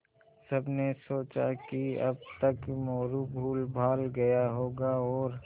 सबने सोचा कि अब तक मोरू भूलभाल गया होगा और